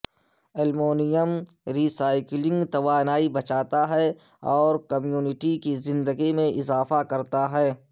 aluminium recycling توانائی بچاتا ہے اور کمیونٹی کی زندگی میں اضافہ کرتا ہے